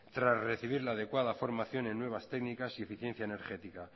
tras recibir la adecuada formación en nuevas técnicas y eficiencia energética